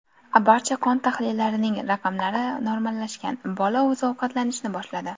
Barcha qon tahlillarining raqamlari normallashgan, bola o‘zi ovqatlanishni boshladi.